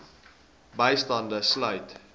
bystand sluit